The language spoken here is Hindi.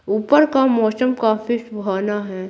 ऊपर का मौसम काफी सुहाना है।